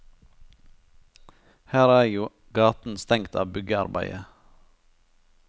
Her er jo gaten stengt av byggearbeidet.